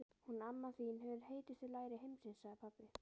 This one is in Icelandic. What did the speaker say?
Hún mamma þín hefur heitustu læri heimsins, sagði pabbi.